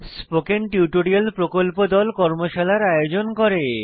spoken tutorial প্রকল্প দল কর্মশালার আয়োজন করে